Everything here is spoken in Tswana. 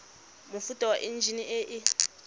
mofuta wa enjine e e